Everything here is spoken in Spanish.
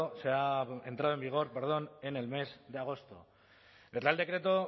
se ha entrado en vigor en el mes de agosto el real decreto